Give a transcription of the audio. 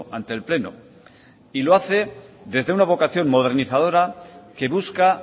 ante el pleno y lo hace desde una vocación modernizadora que busca